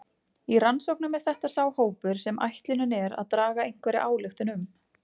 Í rannsóknum er þetta sá hópur sem ætlunin er að draga einhverja ályktun um.